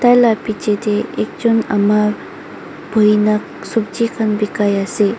Taila piche teh ekjun ama buhi na sobji khan bakai ase.